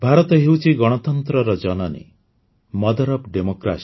ଭାରତ ହେଉଛି ଗଣତନ୍ତ୍ରର ଜନନୀ ମଦର ଓଏଫ୍ Democracy